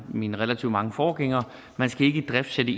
af min relativt mange forgængere ikke idriftsætte